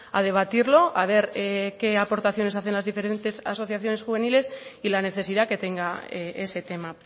a debatirlo a ver qué aportaciones hacen las diferentes asociaciones juveniles y la necesidad que tenga ese tema